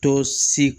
Dɔ si